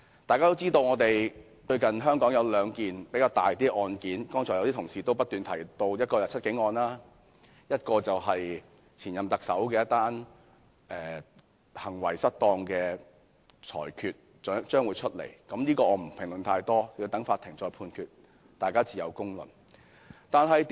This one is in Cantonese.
大家也知香港最近有兩宗較重大的案件，剛才有些同事也有提及，一宗是"七警案"，另一宗是有關前任特首行為失當案件，稍後將有裁決，我也不評論太多，等待法院判決，大家自有公論。